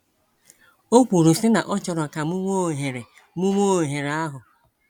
O kwuru sị na ọ chọrọ ka mụ nwe oghere mụ nwe oghere ahụ.